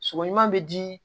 Sɔgɔma bɛ di